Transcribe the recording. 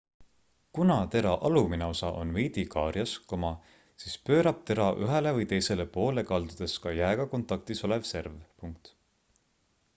kuna tera alumine osa on veidi kaarjas siis pöörab tera ühele või teisele poole kaldudes ka jääga kontaktis olev serv